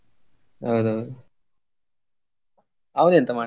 ಹೌದೌದು ಅವ್ನು ಎಂತ ಮಾಡ್ತಾನೆ?